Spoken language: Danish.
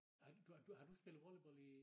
Har du du har du spillet volleyball i